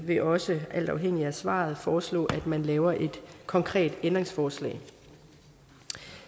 vil også alt afhængigt af svaret foreslå at man laver et konkret ændringsforslag